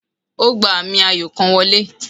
O gba ami ayo kan wọle